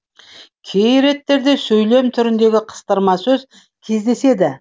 кей реттерде сөйлем түріндегі қыстырма сөз кездеседі